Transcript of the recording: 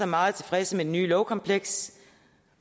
meget tilfredse med det nye lovkompleks